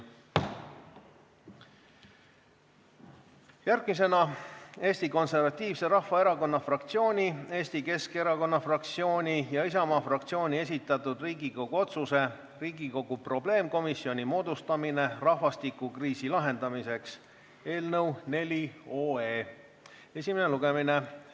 Järgmine punkt on Eesti Konservatiivse Rahvaerakonna fraktsiooni, Eesti Keskerakonna fraktsiooni ja Isamaa fraktsiooni esitatud Riigikogu otsuse "Riigikogu probleemkomisjoni moodustamine rahvastikukriisi lahendamiseks" eelnõu 4 esimene lugemine.